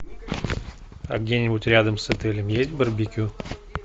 а где нибудь рядом с отелем есть барбекю